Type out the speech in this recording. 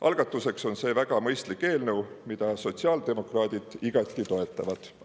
Algatuseks on see väga mõistlik eelnõu, mida sotsiaaldemokraadid igati toetavad.